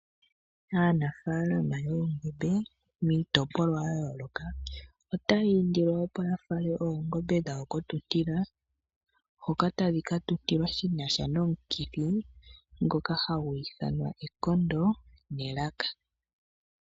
Aanafaalama yoongombe miitopolwa ya yooloka otaya indilwa opo ya fale oongombe dhawo kotuntila ,hoka tadhi ka tuntilwa shinasha nomukithi ngoka hagu ithanwa ekondo nelaka